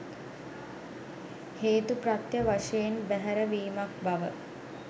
හේතුප්‍රත්‍ය වශයෙන් බැහැර වීමක් බව